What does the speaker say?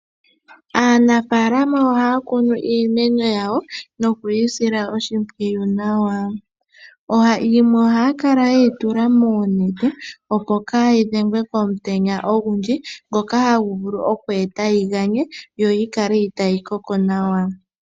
Aanamapya ohaya kunu iimeno yawo nokuyi sila oshimpwiyu nawa. Yimwe ohaya kala yeyi tula muunete opo haayi dhengwe komutenya ogundji, ngoka hagu vulu oku ganyeka nokuninga opo haayi koke nawa.